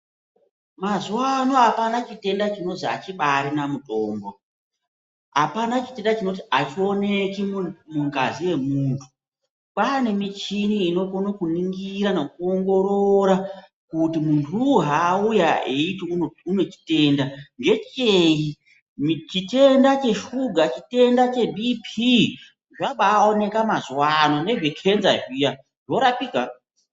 Mazuwa ano apana chitenda chinozi achibaarina mutombo, apana chitenda chinozi achioneki mungazi yemunthu kwaane michini inokone kuningira nekuongorora kuti munthuwu haauya eiti une chitenda, ngechei chitenda cheshuga, chitenda cheBP zvabaaoneka mazuwa ano nezvekenza zviya zvorapika.